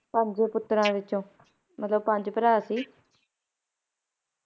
ਪੰਜ ਪੁੱਤਰਾਂ ਵਿੱਚੋ ਮਤਲਬ ਪੰਜ ਭਰਾਂ ਸੀ